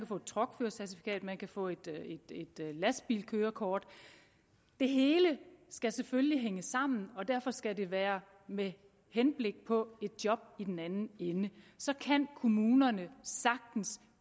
få et truckførercertifikat man kan få et lastbilkørekort det hele skal selvfølgelig hænge sammen og derfor skal det være med henblik på et job i den anden ende så kan kommunerne sagtens